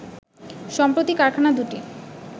সম্প্রতি কারখানা দুটি